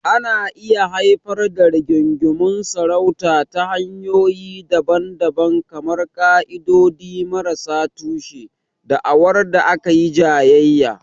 Ana iya haifar da rigingimun sarauta ta hanyoyi daban-daban kamar ƙa'idodi marasa tushe, da'awar da aka yi jayayya.